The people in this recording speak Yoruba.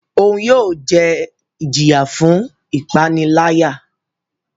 Oun yóò jẹ ijiya fun ipanilaya.